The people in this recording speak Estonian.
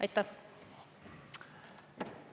Aitäh!